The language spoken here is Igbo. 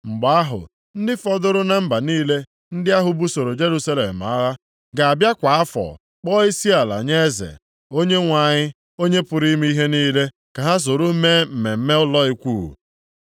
Mgbe ahụ, ndị fọdụrụ na mba niile ndị ahụ busoro Jerusalem agha, ga-abịa kwa afọ kpọọ isiala nye eze, Onyenwe anyị, Onye pụrụ ime ihe niile ka ha soro mee mmemme ụlọ Ikwu.